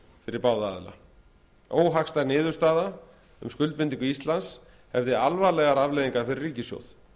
fyrir báða aðila óhagstæð niðurstaða um skuldbindingu íslands hefði alvarlegar afleiðingar fyrir ríkissjóð